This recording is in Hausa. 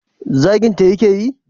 zaginta ya ke yi?